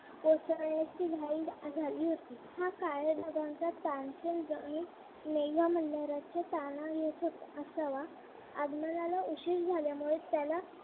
कोसळण्याची घाई झाली होती हा काळ्या ढगांचा मेघ मंदिराच्या असावा आगमनाला उशीर झाल्यामुळे त्याला